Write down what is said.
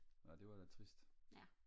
ja det var da trist